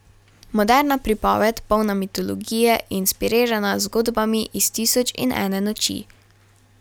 Moderna pripoved, polna mitologije, je inspirirana z zgodbami iz Tisoč in ene noči.